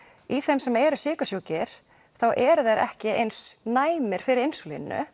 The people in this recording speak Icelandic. í þeim sem eru sykursjúkir þá eru þeir ekki eins næmir fyrir